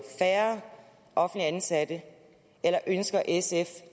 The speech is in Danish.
færre offentligt ansatte eller ønsker sf